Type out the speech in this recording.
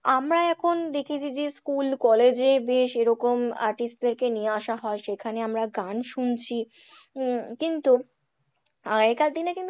আমরা এখন দেখি যে যে school college এ বেশ এরকম artist দেরকে নিয়ে আসা হয় সেখানে আমরা গান শুনছি, উম কিন্তু আগেকার দিনে কিন্তু,